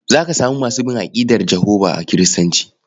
Za ka samu masu bin aƙidar Jehovah a Kiristoci.